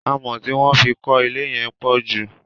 Amọ̀ tí wọ́n fí kọ ilé yẹn pọ̀ jù.